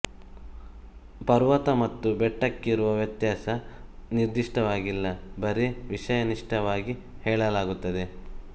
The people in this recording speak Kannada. ಪರ್ವತ ಮತ್ತು ಬೆಟ್ಟಕ್ಕಿರುವ ವ್ಯತ್ಯಾಸ ನಿರ್ದಿಷ್ಟವಾಗಿಲ್ಲ ಬರೇ ವಿಷಯನಿಷ್ಠವಾಗಿ ಹೇಳಲಾಗುತ್ತದೆ